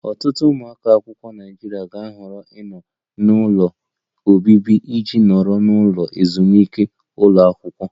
Ọtụtụ ụmụ akwụkwọ Naịjirịa ga-ahọrọ ịnọ n'ụlọ obibi iji nọrọ n'ụlọ ezumike ụlọ akwụkwọ